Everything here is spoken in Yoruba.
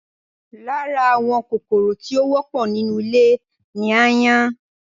Lára àwọn kòkòrò tí ó wọ́pọ̀ nínú ilé ni ááyán wà